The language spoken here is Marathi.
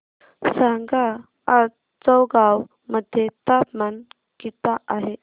सांगा आज चौगाव मध्ये तापमान किता आहे